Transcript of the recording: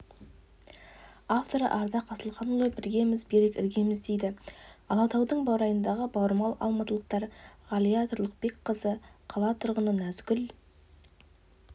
авторы ардақ асылханұлы біргеміз берік іргеміз дейді алатаудың баурайындағы бауырмал алматылықтар ғалия тұрлыбекқызы қала тұрғыны нәзгүл